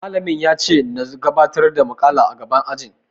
Malamim yace nazo na gabatar da muƙala a gaban ajin.